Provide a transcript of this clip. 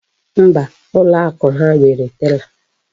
Mba, ụlọ akụ ha nwere tela.